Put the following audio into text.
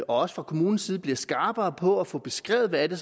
også fra kommunens side bliver skarpere på at få beskrevet hvad det